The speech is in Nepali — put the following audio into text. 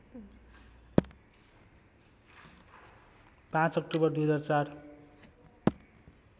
५ अक्टोबर २००४